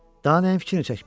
Daha nəyin fikrini çəkməliyəm?